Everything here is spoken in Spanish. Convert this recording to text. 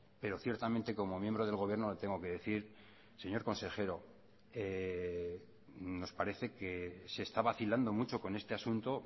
pero ciertamente como miembro del gobierno le tengo que decir señor consejero nos parece que se está vacilando mucho con este asunto